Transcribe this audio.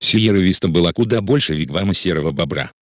сиерра виста была куда больше вигвама серого бобра